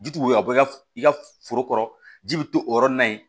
Ji ti woyo bɔ i ka i ka foro kɔrɔ ji bi to o yɔrɔ nin na yen